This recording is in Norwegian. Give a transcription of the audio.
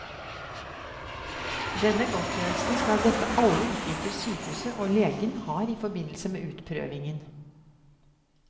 Denne godtgjørelsen skal dekke alle utgifter sykehuset og legen har i forbindelse med utprøvingen.